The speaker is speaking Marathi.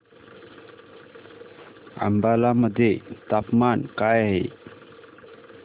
अंबाला मध्ये तापमान काय आहे